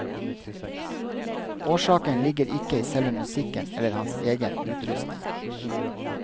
Årsaken ligger ikke i selve musikken eller hans egen utrustning.